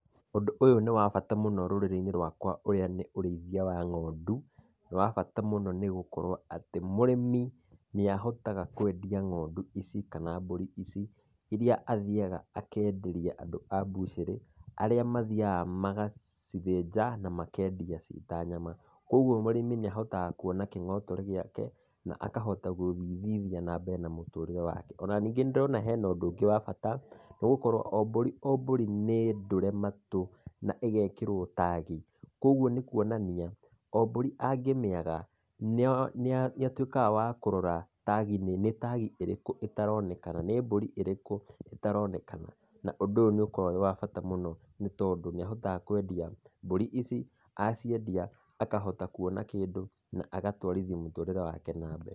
Ũndũ ũyũ nĩ wa bata rũrĩrĩ-inĩ rwaka ũrĩa nĩ ũrĩithia wa ng'ondu, ni wa bata mũno nĩ gũkorwo atĩ mũrĩmi nĩ ahotaga kwendia ng'ondu ici kana mbũri ici irĩa athiyaga akenderia andũ a bucĩrĩ arĩa mathiyaga magacithĩnja na makendia ci ta nyama, koguo mũrĩmi nĩ ahotaga kuona kĩng'otore gĩake na akahota gũthithithia na mũtũrĩre wake. O na ningĩ nĩndĩrona hena ũndũ ũngĩ wa bata nĩgũkorwo o mbũri o mbũrĩ nĩndũre matũ na igekĩrwo tagi, Kogwo nĩ kuonania mbũrĩ angĩmĩaga nĩatuiĩkaga wa kũrora tagi-inĩ, nĩ tagi ĩtaronekana, nĩ mburi ĩrĩkũ itaronenaka na ũndũ ũyũ nĩ ũkoragwo wĩwabata mũno nĩ tondũ nĩ ahotaga kwendia mbũri ici aciendia akahota kuona kĩndũ na agatũarithia mũtũrĩre wake na mbere.